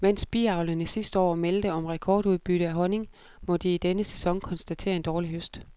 Mens biavlerne sidste år meldte om rekordudbytte af honning, må de i denne sæson konstatere en dårlig høst.